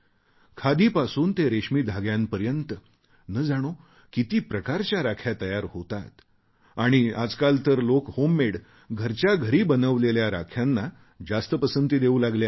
खादीपासून ते रेशमी धाग्यांपर्यंत न जाणो किती प्रकारच्या राख्या तयार होतात आणि आजकाल तर लोक होममेड घरच्या घरी बनवलेल्या राख्यांना जास्त पसंती देऊ लागले आहेत